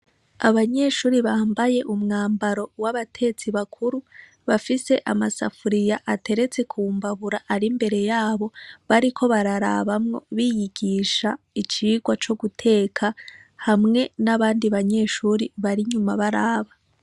Abanyeshure bamabaye umwambaro w'abatetsi bakuru, bafise amasafuriya ateretse ku mbabura ari imbere yabo, bariko bararabamwo, biyigisha icigwa co guteka hamwe n'abandi banyeshure bari inyuma baraba.